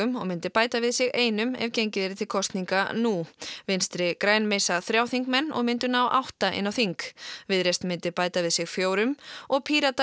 og myndi bæta við sig einum ef gengið yrði til kosninga nú vinstri græn missa þrjá þingmenn og myndu ná átta inn á þing Viðreisn myndi bæta við sig fjórum og Píratar